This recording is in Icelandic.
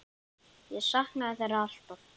Ég saknaði þeirra alltaf.